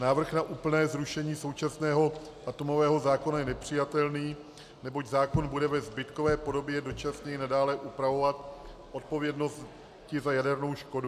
Návrh na úplné zrušení současného atomového zákona je nepřijatelný, neboť zákon bude ve zbytkové podobě dočasně nadále upravovat odpovědnost za jadernou škodu.